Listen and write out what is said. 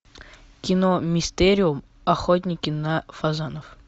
кино мистериум охотники на фазанов